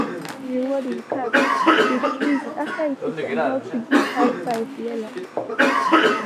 he dey reward he cat with treats after he teach am how to give high five well.